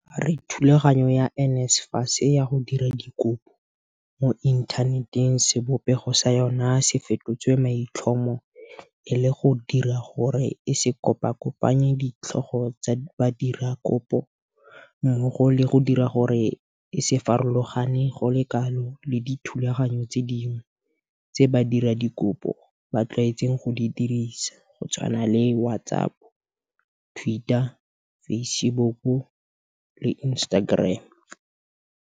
A re thulaganyo ya NSFAS ya go dira dikopo mo inthaneteng sebopego sa yona se fetotswe maitlhomo e le go dira gore e se kopakopanye ditlhogo tsa badiradikopo mmogo le go dira gore e se farologane go le kalo le dithulaganyo tse dingwe tse badiradikopo ba tlwaetseng go di dirisa go tshwana le WhatsApp, Twitter, Facebook le Instagram